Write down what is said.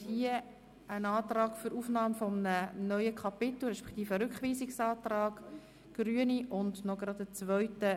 Ich schlage Ihnen vor, Artikel 183 und 184 gemeinsam zu beraten.